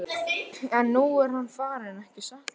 En nú er hann farinn, ekki satt?